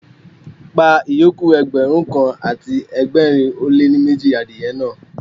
Pa ìyókù Ẹgbẹ̀rún kan àti ẹgbẹ̀rin ó lé ní méjì adìye náà.